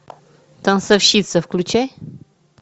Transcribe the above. танцовщица включай